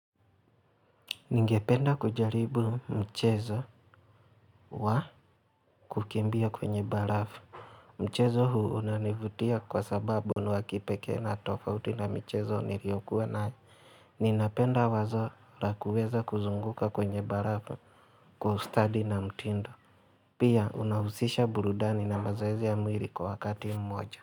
Ningependa kujaribu mchezo wa kukimbia kwenye barafu. Mchezo huu unanivutia kwa sababu ni wa kipekee na tofauti na mchezo niliyokuwa nayo. Ninapenda wazo la kuweza kuzunguka kwenye barafu kwa ustadi na mtindo. Pia unahusisha burudani na mazoezi ya mwili kwa wakati mmoja.